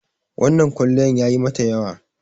wannan kwaliyan yayi mata yawa